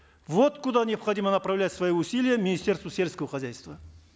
вот куда необходимо направлять свои усилия министерству сельского хозяйства